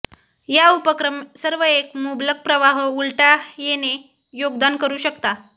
या उपक्रम सर्व एक मुबलक प्रवाह उलटा येणे योगदान करू शकता